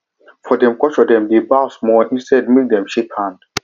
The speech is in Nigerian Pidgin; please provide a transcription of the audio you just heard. for dem culturedem dey bow small instead make dem shake hands